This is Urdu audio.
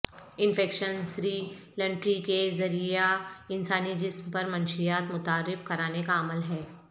انفیکشن سری لنٹری کے ذریعہ انسانی جسم میں منشیات متعارف کرانے کا عمل ہے